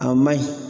A ma ɲi